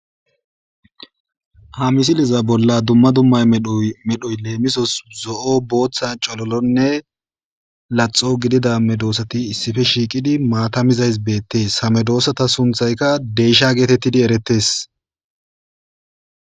ha misiliza bolla dumma dumma medossata medhoy leemisos zo7o, booththa, cololonne laxo gidida medoossati issife shiiqidi maata mizays beettees ha medoossata sunthayka deysha geetettidi erettes